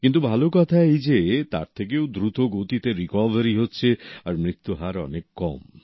কিন্তু ভালো কথা এই যে তার থেকেও দ্রুত গতিতে রিকভারিও হচ্ছে আর মৃত্যু হার অনেক কম